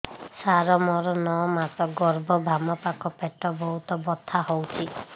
ସାର ମୋର ନଅ ମାସ ଗର୍ଭ ବାମପାଖ ପେଟ ବହୁତ ବଥା ହଉଚି